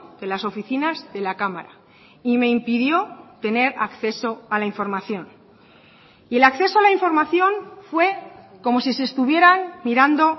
de las oficinas de la cámara y me impidió tener acceso a la información y el acceso a la información fue como si se estuvieran mirando